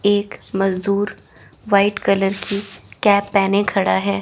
एक मजदूर white colour की कैप पहने खड़ा है।